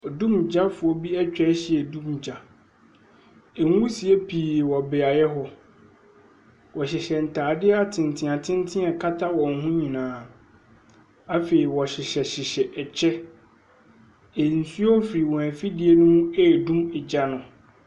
Odumgyafoɔ bi atwa ahyiam redum gya. Nwisie pii wɔ beae hɔ. Wɔhyehyɛ ntar atenten atenten a ɛkata wɔn ho nyinaa, afe wɔhyehyɛhyehyɛ ɛkyɛ. Nsuo firi wɔn afidie no mu redum gya no.